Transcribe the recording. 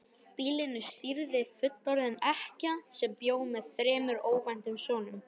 Býlinu stýrði fullorðin ekkja sem bjó með þremur ókvæntum sonum.